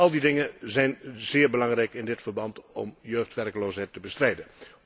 Al die dingen zijn zeer belangrijk in dit verband om de jeugdwerkloosheid te bestrijden.